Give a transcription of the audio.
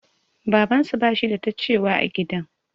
Babansu bashi da ta cewa a gidan.